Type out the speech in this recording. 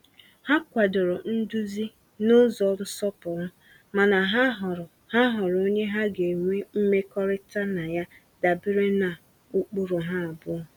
Ha kwadoro nduzi n’ụzọ nsọpụrụ, mana ha họọrọ ha họọrọ onye ha ga-enwe mmekọrịta na ya dabere na ụkpụrụ ha abụọ.